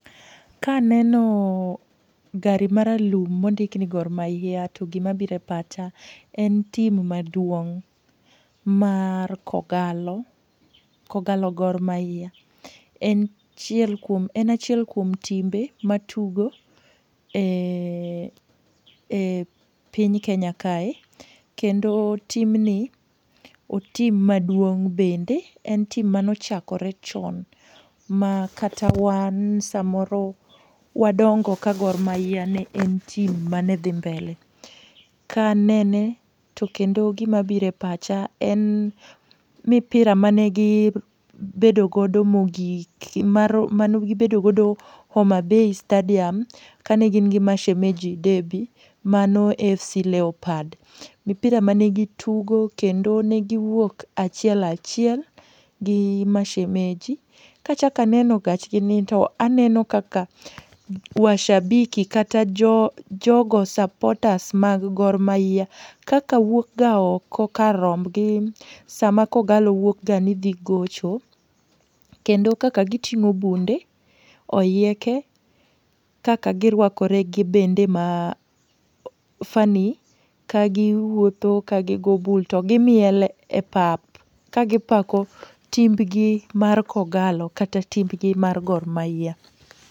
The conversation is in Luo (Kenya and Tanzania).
Ka aneno gari maralum ma ondik ni Gor Mahia to gima biro e pacha en team maduong' mar kogalo. Kogalo Gor Mahia. En achiel kuom, en achiel kuom timbe matugo e piny Kenya kae. Kendo teamni o team maduong' bende. En team mane ochakore chon ma kata wan samoro wadongo ka Gor Mahie ne en team mane dhi mbele. Ka anene to kendo gima biro e pacha en mipira mane gi bedo godo mogik mar, mane gibedo godo Homabay stadium. Ka ne gin gi mashemeji derby mano e AFC leopard. Mpira manegitugo, kendo ne giwuok achiel achiel gi mashemeji. Ka achak aneno gach gi ni to aneno kaka washabiki, kata jo jogo supporters mag Gor Mahia, kaka wuok ga oko kar romb gi sama Kogalo wuok ga ni dhi gocho. Kendo kaka giting'o ga bunde, oyieke. Kaka girwakore gibende ma funny ka gi wuotho ka gi go bul to gimiel e pap ka gipako team gi mar Kogalo, kata team gi mar Gor Mahia.